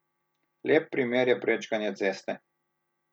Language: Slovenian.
Lep primer je prečkanje ceste.